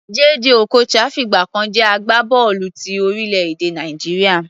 Jay Jay Okocha fìgbà kan jẹ́ agbábọ́ọ̀lù ti orílẹ̀-èdè Nàìjíríà.